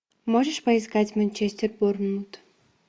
можешь поискать манчестер борнмут